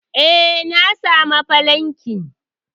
eh, na samu falankin